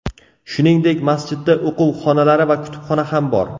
Shuningdek, masjidda o‘quv xonalari va kutubxona ham bor.